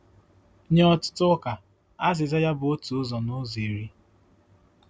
Nye ọtụtụ ụka, azịza ya bụ otu ụzọ n'ụzọ iri.